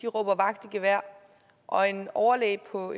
råber vagt i gevær og en overlæge på